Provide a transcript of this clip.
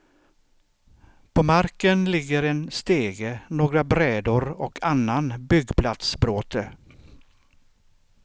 På marken ligger en stege, några brädor och annan byggplatsbråte.